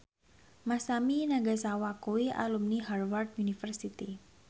Masami Nagasawa kuwi alumni Harvard university